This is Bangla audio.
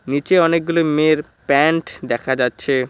নীচে অনেকগুলি মেয়ের প্যান্ট দেখা যাচ্ছে।